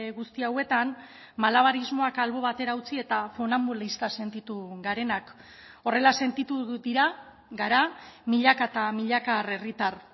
guzti hauetan malabarismoak albo batera utzi eta funanbulista sentitu garenak horrela sentitu dira gara milaka eta milaka herritar